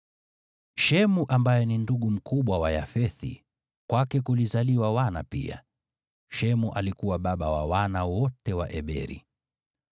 Shemu ambaye ni ndugu mkubwa wa Yafethi, kwake kulizaliwa wana pia. Shemu alikuwa baba wa wana wote wa Eberi.